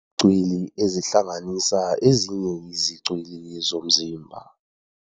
cwili ezihlanganisa ezinye izicwili zomzimba.